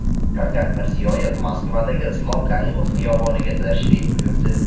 Shavkat Mirziyoyev Moskvadagi Islom Karimov xiyoboniga tashrif buyurdi .